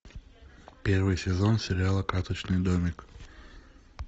первый сезон сериала карточный домик